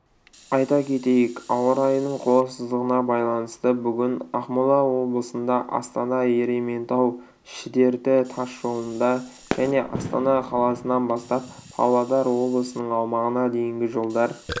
айта кетейік ауа райының қолайсыздығына байланысты бүгін ақмола облысында астана-ерейментау-шідерті тас жолында және астана қаласынан бастап павлодар облысының аумағына дейінгі жолдар